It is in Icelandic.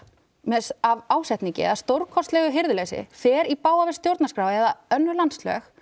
með ásetningi eða stórkostlegu hirðuleysi fer í bága við stjórnarskrá eða önnur landslög